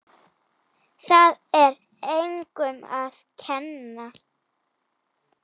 Það er engum að kenna.